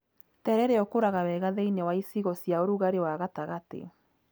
Terere ũkũraga wega thĩiniĩ wa icigo cia ũrugarĩ wa gatagati.